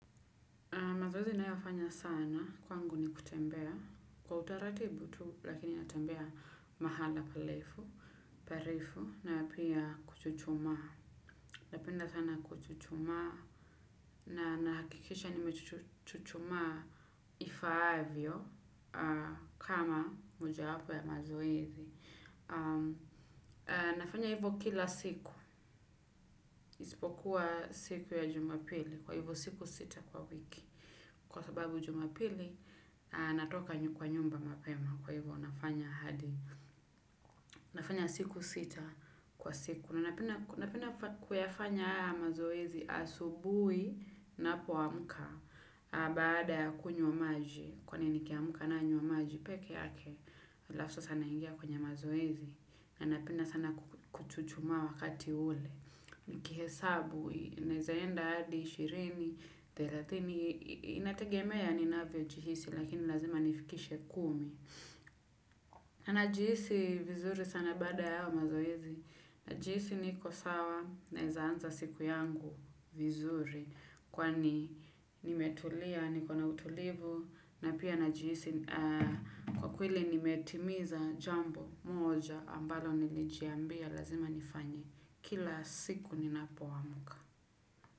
Mazoezi ninayoyafanya sana kwangu ni kutembea kwa utaratibu tu, lakini natembea mahala parefu. Na pia kuchuchumaa napenda sana kuchuchumaa, na nakikisha nimechuchumaa ifaavyo kama mojawapo ya mazoezi. Nafanya hivyo kila siku isipokuwa siku ya jumapili kwa hivyo siku sita kwa wiki kwa sababu jumapili natoka kwa nyumba mapema kwa hivyo nafanya hadi nafanya siku sita kwa siku na napenda kuyafanya haya mazoezi asubuhi ninapoamka baada kunywa maji kwani nikiamka nanywa maji peke yake alafu sasa naingia kwenye mazoezi. Na napenda sana kuchuchumaa wakati ule. Nikihesabu, naezaenda hadi, ishirini, thelathini, inategemea ninavyojihisi, lakini lazima nifikishe kumi. Na najihisi vizuri sana baada ya hayo mazoezi. Najihisi niko sawa, naezaanza siku yangu vizuri. Kwani nimetulia, niko na utulivu. Na pia najihisi kwa kweli nimetimiza jambo moja ambalo nilijiambia lazima nifanye kila siku ninapoamka.